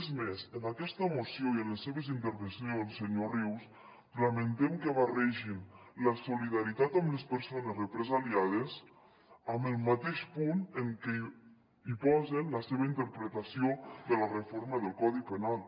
és més en aquesta moció i en les seves intervencions senyor rius lamentem que barregin la solidaritat amb les persones represaliades en el mateix punt en què posen la seva interpretació de la reforma del codi penal